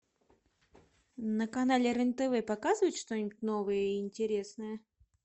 на канале рен тв показывают что нибудь новое и интересное